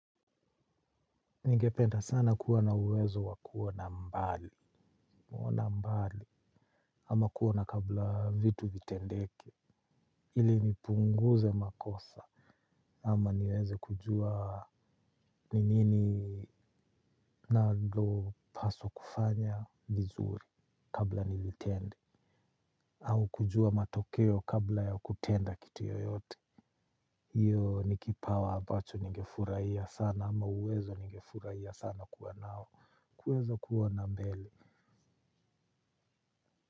Ningependa sana kuwa na uwezo wa kuona mbali ama kuona kabla vitu vitendeke ili nipunguze makosa, ama niweze kujua ni nini. Ninalopaswa kufanya vizuri kabla sijatenda. Au kujua matokeo kabla ya kutenda kitu yoyote. Hiyo ni kipawa ambacho ningefurahia sana, ama uwezo ningefurahia sana kuwa nao. Kuweza kuona mbele.